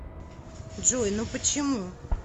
джой ну почему